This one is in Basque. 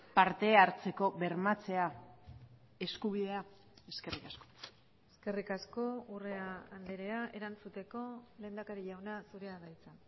parte hartzeko bermatzea eskubidea eskerrik asko eskerrik asko urrea andrea erantzuteko lehendakari jauna zurea da hitza